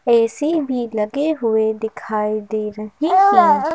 ऐ_ C भी लगे हुए दिखाई दे रहे हैं।